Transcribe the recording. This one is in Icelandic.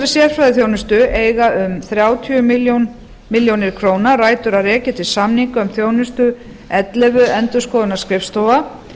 sérfræðiþjónustu eiga um þrjátíu milljónir króna rætur að rekja til samninga um þjónustu ellefu endurskoðunarskrifstofa